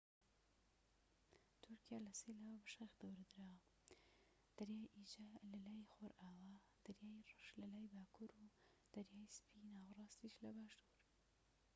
تورکیا لە سێ لاوە بە شاخ دەورە دراوە دەریای ئیجە لە لای خۆرئاوا دەریای ڕەش لەلای باکوور و دەریای سپی ناوەراستیش لە باشور